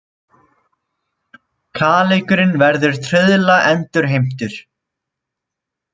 Kaleikurinn verður trauðla endurheimtur